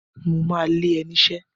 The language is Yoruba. Mo ma lé ẹ niṣẹ́!